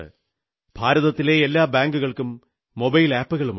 ഭാരതത്തിലെ എല്ലാ ബാങ്കുകൾക്കും മൊബൈൽ ആപ്പുകളുണ്ട്